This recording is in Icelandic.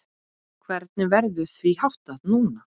Hvernig verður því háttað núna?